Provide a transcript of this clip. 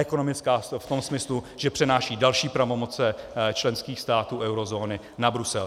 Ekonomická v tom smyslu, že přenáší další pravomoci členských států eurozóny na Brusel.